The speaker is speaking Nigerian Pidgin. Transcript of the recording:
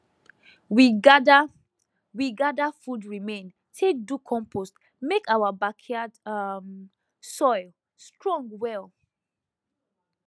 we gather we gather food remain take do compost make our backyard um soil strong well